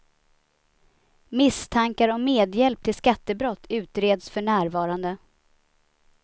Misstankar om medhjälp till skattebrott utreds för närvarande.